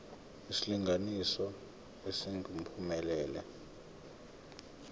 isilinganiso esingu uphumelele